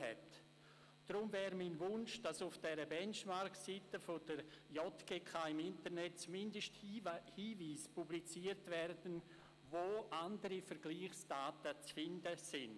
Deshalb wäre es mein Wunsch, dass die JGK auf ihrer BenchmarkSeite im Internet zumindest Hinweise publiziert, wo andere Vergleichsdaten zu finden sind.